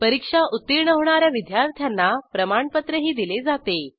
परीक्षा उत्तीर्ण होणा या विद्यार्थ्यांना प्रमाणपत्रही दिले जाते